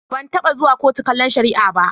Ban taɓa zuwa kotu kallon shari'a ba.